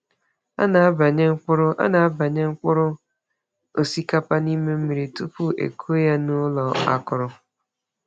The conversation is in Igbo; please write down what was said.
A na-ebanye mkpụrụ A na-ebanye mkpụrụ osikapa n’ime mmiri tupu e kụọ ya n’ụlọ akụrụ.